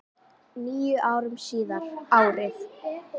Níu árum síðar, árið